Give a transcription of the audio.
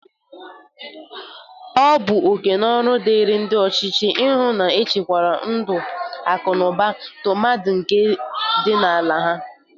Ọ bụ oke na ọrụ dịri ndị ọchịchị ihu na-echekwara ndụ, akụnụba, tụmadị nke ndị ala ha.